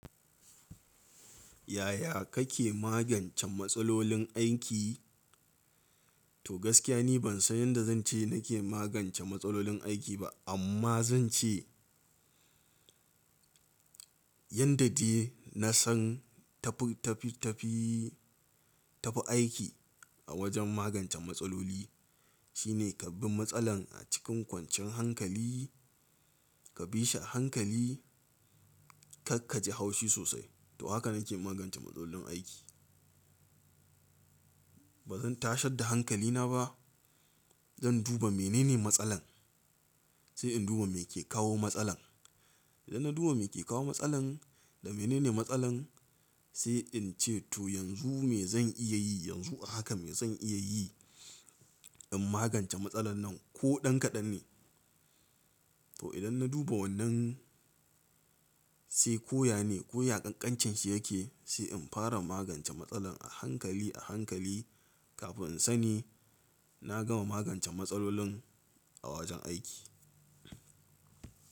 Yaya kake magance matsalolin aiki? To gaskiya ni ban san yanda zance nake magance matsalolin aiki ba amma zan ce yanda dai nasan tafi, tafi, tafi, tafi aiki a wajen magance matsaloli shine ka bi matsalar a cikin kwanciyan hankali, ka bi shi a hankali, kar kaji haushi sosai. To haka nake magance matsalolin aiki. Bazan tashar da hankalina ba, zan duba menene matsalar sai in duba meke kawo matsalar. Idan na duba me ke kawo matsalar da menene matsalar sai in ce to yanzu me zan iya yi, yanzu haka me zan iya yi in magance matsalar nan ko ɗan kaɗan ne. To idan na duba wannan sai ko yane, ko ya ƙanƙancinshi yake sai in fara magance matsalan a hankali, a hankali kafin in sani na gama magance matsalolin a wajen aiki.